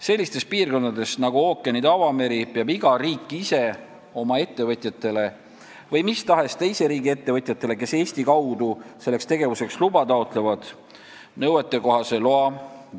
Sellistes piirkondades nagu ookeanid ja avameri peab iga riik ise andma välja oma ettevõtjatele – või mis tahes teise riigi ettevõtjatele, kes Eesti kaudu selleks tegevuseks luba taotlevad – nõuetekohase loa.